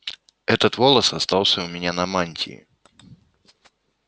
этот волос остался у меня на мантии